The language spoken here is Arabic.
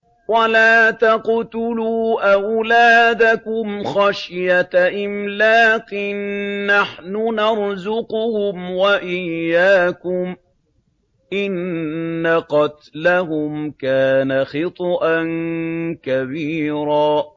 وَلَا تَقْتُلُوا أَوْلَادَكُمْ خَشْيَةَ إِمْلَاقٍ ۖ نَّحْنُ نَرْزُقُهُمْ وَإِيَّاكُمْ ۚ إِنَّ قَتْلَهُمْ كَانَ خِطْئًا كَبِيرًا